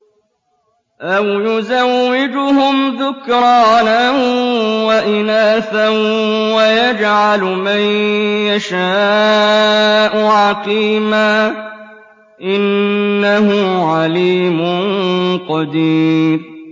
أَوْ يُزَوِّجُهُمْ ذُكْرَانًا وَإِنَاثًا ۖ وَيَجْعَلُ مَن يَشَاءُ عَقِيمًا ۚ إِنَّهُ عَلِيمٌ قَدِيرٌ